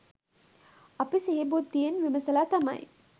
අපි සිහි බුද්ධියෙන් විමසලා තමයි